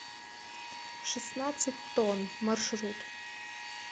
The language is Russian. шестнадцать тонн маршрут